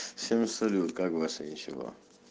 всем салют как ваше ничего